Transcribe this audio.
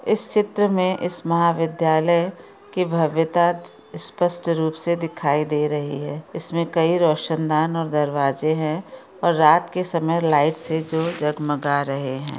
इस चित्र में इस महाविद्यालय की भव्यता स्पष्ट रूप से दिखाई दे रही है इसमें कई रौशन दान और दरवाजे है और रात के समय लाइट से जो जगमगा रहे है।